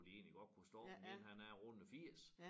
Hvor de egentlig godt kunne stoppe den ene han er rundet 80